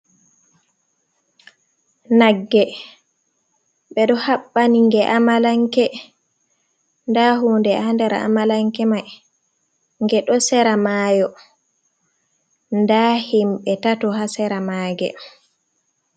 Nagge, ɓe ɗo haɓɓani nge amalanke, nda huunde haa nder amalanke may, nge ɗo sera maayo nda himɓe tato haa sera maage.